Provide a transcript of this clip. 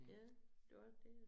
Ja det også det